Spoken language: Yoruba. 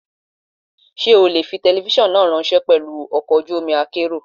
Ṣé o lè fi telifíṣàn náà ráńṣẹ́ pelu ọkọ̀ ojú omi akérò?